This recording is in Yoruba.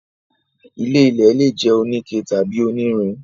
ilé-ilẹ̀ lè jẹ́ oníke tàbí onírin.